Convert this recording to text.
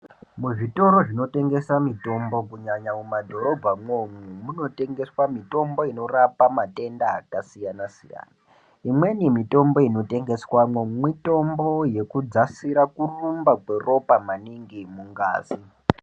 Muzvitoro zvinotengesa mitombo kunyanya mumadhorobhamwo umwo munotengeswa mitombo inorapa matenda akasiyana siyana, imweni mitombo inotengeswamwo mitombo yekudzasira kurumba kweropa maningi mungazi.